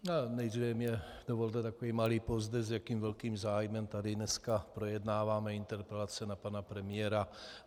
Nejdříve mně dovolte takový malý povzdech, s jakým velkým zájmem tady dneska projednáváme interpelace na pana premiéra.